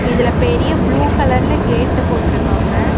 இதுல பெரிய ப்ளூ கலர்ல கேட்டு போட்டுருக்காங்க.